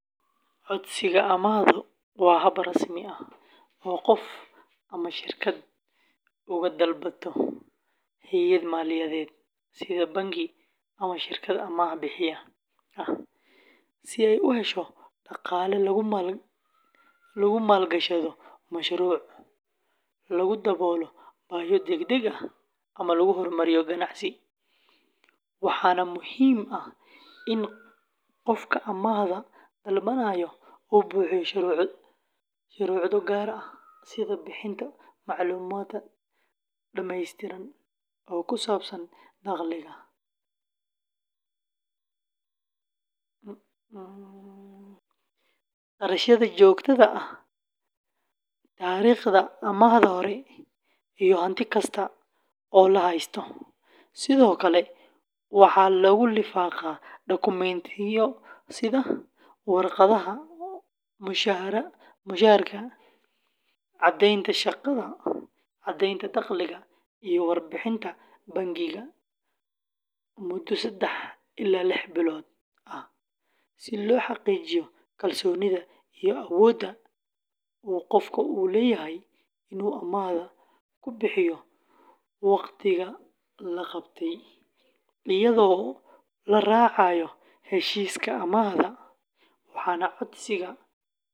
Codsiga amaahdu waa hab rasmi ah oo qof ama shirkad uga dalbato hay’ad maaliyadeed sida bangi ama shirkad amaah-bixiye ah si ay u hesho dhaqaale lagu maalgashado mashruuc, lagu daboolo baahiyo degdeg ah, ama lagu hormariyo ganacsi, waxaana muhiim ah in qofka amaahda dalbanaya uu buuxiyo shuruudo gaar ah sida bixinta macluumaad dhameystiran oo ku saabsan dakhliga, kharashyada joogtada ah, taariikhda amaahda hore, iyo hanti kasta oo la haysto; sidoo kale, waxaa lagu lifaaqaa dokumentiyo sida warqadaha mushaharka, caddaynta shaqada, caddeynta dakhliga, iyo warbixinta bangiga muddo saddex ilaa lix bilood ah si loo xaqiijiyo kalsoonida iyo awoodda uu qofku u leeyahay inuu amaahda ku bixiyo wakhtiga loo qabtay iyadoo la raacayo heshiiska amaahda, waxaana codsiga.